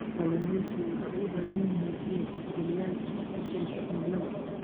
Kalluumaysigu waxay u baahan yihiin inay tixgeliyaan isbeddelka cimilada.